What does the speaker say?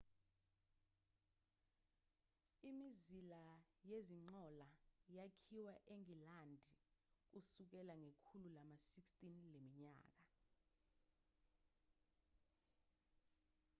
imizila yezinqola yakhiwa engilandi kusukela ngekhulu lama-16 leminyaka